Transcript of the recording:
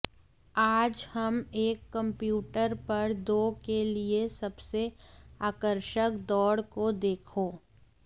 आज हम एक कंप्यूटर पर दो के लिए सबसे आकर्षक दौड़ को देखो